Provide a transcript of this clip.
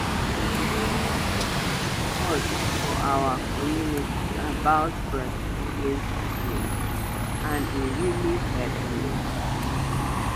dem come teach us us for our community about breastfeeding techniques and e really hep me.